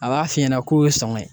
A b'a f'i ɲɛna k'o y'o sɔŋɔ ye